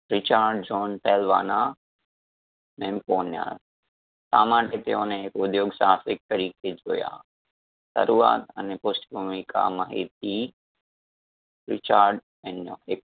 richard john pelwana mamponya શા માટે તેઓને એક ઉધ્યોગ સાહસિક તરીકે જોયા? શરૂઆત અને પુષ્ટ ભૂમિકા માહિતી recharge એનો એક